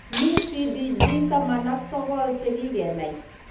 Mi CDG taman ak sokol che kikenai.